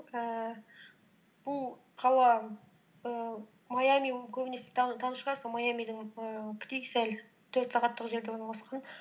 ііі бұл қала ііі майами көбінесе шығарсың сол майамидың ііі сәл төрт сағаттық жерде орналасқан